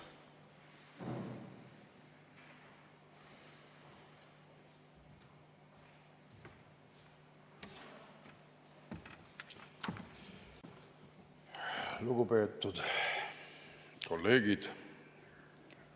Lugupeetud kolleegid!